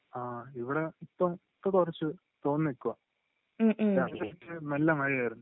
ഇവിടെ ഇപ്പൊ ഇപ്പൊ കുറച്ച് തോർന്ന് നിക്കുവാ രാത്രി ഒക്കെ നല്ല മഴയായിരുന്നു